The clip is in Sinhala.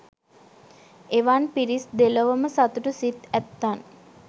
එවන් පිරිස් දෙලොවම සතුටු සිත් ඇත්තන්